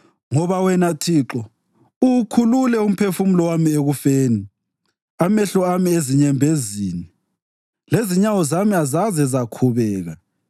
Ngoba wena Thixo, uwukhulule umphefumulo wami ekufeni, amehlo ami ezinyembezini, lezinyawo zami azaze zakhubeka,